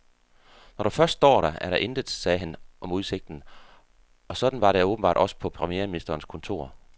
Når du først står der, er der intet, sagde han om udsigten, og sådan var det åbenbart også på premierministerens kontor.